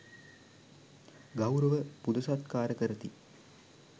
ගෞරව පුද සත්කාර කරති.